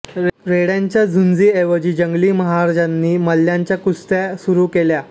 रेड्यांच्या झुंजींऐवजी जंगली महाराजांनी मल्ल्यांच्या कुस्त्या सुरू केल्या